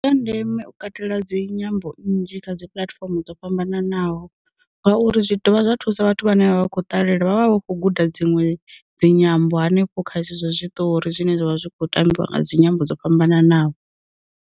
Ndi zwa ndeme u katela dzinyambo nnzhi kha dzi puḽatifomo dzo fhambananaho, ngauri zwi dovha zwa thusa vhathu vhane vha vha khou ṱalela vhavha vha khou guda dziṅwe dzi nyambo hanefho kha zwezwo zwiṱori zwine zwavha zwi kho tambiwa nga dzi nyimbo dzo fhambananaho.